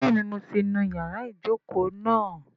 Bẹ́ẹ̀ni mo ti nu ìyára ìjókòó náà